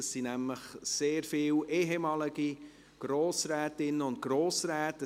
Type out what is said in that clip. Dort sind nämlich sehr viele ehemalige Grossrätinnen und Grossräte.